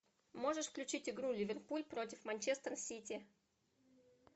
можешь включить игру ливерпуль против манчестер сити